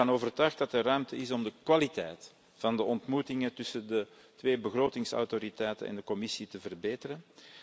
Ik ben ervan overtuigd dat er ruimte is om de kwaliteit van de ontmoetingen tussen de twee begrotingsautoriteiten en de Commissie te verbeteren.